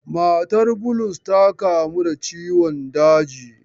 Matar Bulus ta kamu da ciwon daji.